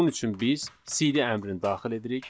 Bunun üçün biz CD əmrini daxil edirik.